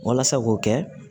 Walasa k'o kɛ